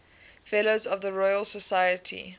fellows of the royal society